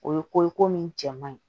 O ye ko ye ko min cɛ man ɲi